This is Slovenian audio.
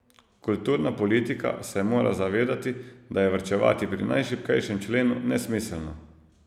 Kulturna politika se mora zavedati, da je varčevati pri najšibkejšem členu nesmiselno.